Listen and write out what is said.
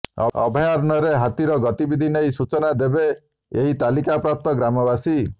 ଅଭୟାରଣ୍ୟରେ ହାତୀର ଗତିବିଧି ନେଇ ସୂଚନା ଦେବେ ଏହି ତାଲିମପ୍ରପ୍ତ ଗ୍ରାମବାସୀ